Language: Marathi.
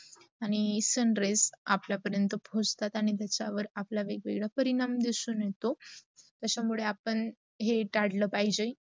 आणी sun rays आपला पर्यंत पोचतात आणी त्याचा आपल्या वर वेग- वेगडा परिणाम दिसून येतो. त्याचा मुडे आपण हे ताडला पाहिजे.